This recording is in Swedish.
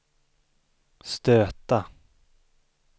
stöta